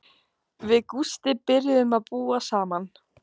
Við Gústi byrjuðum að búa saman.